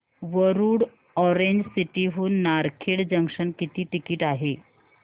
Warud orange city हून Narkhed junction किती ticket आहे